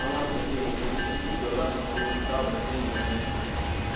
àwọn aṣòfin èkó ní kíjọba sanwó fáwọn téèyàn wọn kú